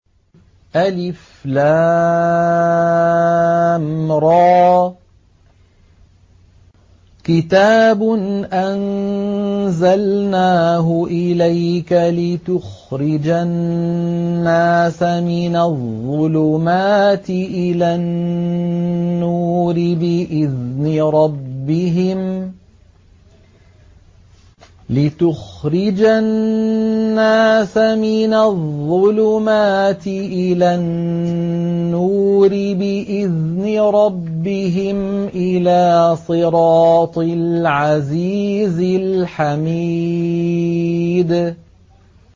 الر ۚ كِتَابٌ أَنزَلْنَاهُ إِلَيْكَ لِتُخْرِجَ النَّاسَ مِنَ الظُّلُمَاتِ إِلَى النُّورِ بِإِذْنِ رَبِّهِمْ إِلَىٰ صِرَاطِ الْعَزِيزِ الْحَمِيدِ